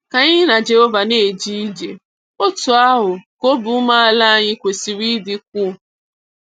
Ka anyị na Jehova na-eje ije, otú ahụ ka obi umeala anyị kwesịrị ịdịkwu.